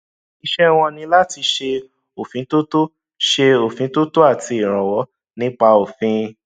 iṣẹ wọn ní láti ṣe òfintótó ṣe òfintótó àti ìrànwọ nípa òfin